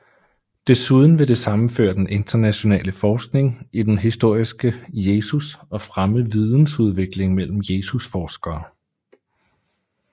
Desuden vil det sammenføre den internationale forskning i den historiske Jesus og fremme vidensudveksling mellem Jesusforskere